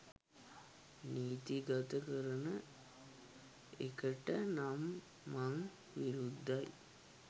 නීති ගත කරන එකට නම් මං විරුද්ධයි